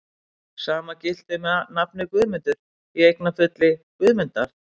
Sama gilti um nafnið Guðmundur, í eignarfalli Guðmundar.